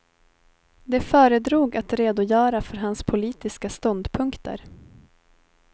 De föredrog att redogöra för hans politiska ståndpunkter.